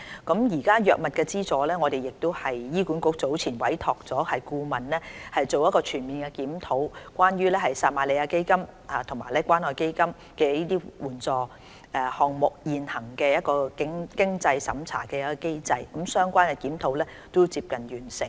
關於藥物資助，醫管局早前委託顧問全面檢討撒瑪利亞基金和關愛基金醫療援助項目現行的經濟審查機制，相關檢討已接近完成。